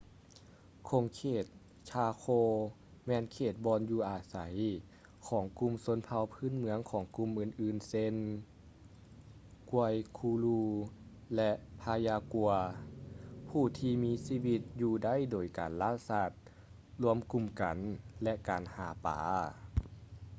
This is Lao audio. ຂົງເຂດ chaco ແມ່ນເຂດບ່ອນຢູ່ອາໄສຂອງກຸ່ມຊົນເຜົ່າພື້ນເມືອງກຸ່ມອື່ນໆເຊັ່ນ: guaycurú ແລະ payaguá ຜູ້ທີ່ມີຊີວິດຢູ່ໄດ້ໂດຍການລ່າສັດ ລວມກຸ່ມກັນ ແລະ ການຫາປາ